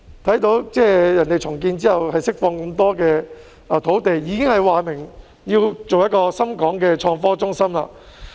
對方在重建後可以釋放很多土地，並已表明要建設一個深港創科中心。